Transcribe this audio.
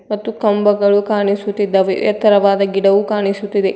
ಮತ್ತು ಕಂಬಗಳು ಕಾಣಿಸುತ್ತಿದ್ದಾವೆ ಎತ್ತರವಾದ ಗಿಡವು ಕಾಣಿಸುತ್ತಿದೆ.